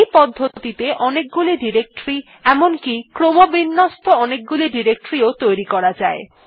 এই পদ্ধতিতে অনেকগুলি ডিরেক্টরী এমনকি ক্রমবিন্যস্ত অনেকগুলি ডিরেক্টরী ও তৈরী করা যায়